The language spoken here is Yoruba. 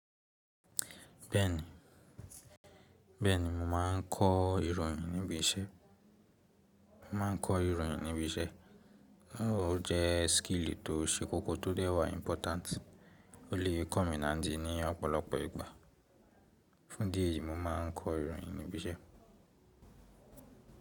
Bẹ́ẹ̀ni, bẹ́ẹ̀ni mo máà ń kọ ìròyìn níbi iṣẹ́. Mo máà ń kọ ìròyìn níbi iṣẹ́. Ó jẹ́ skill tó ṣe kókó tó dẹ́wà important, ó lè kọ́ mi ní ọ̀pọ̀lọpọ̀ ìgbà. Fún díẹ̀ yìí mo máà ń kọ ìròyìn ní ibi iṣẹ́.